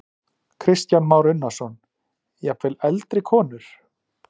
Kristján Már Unnarsson: Jafnvel eldri konur?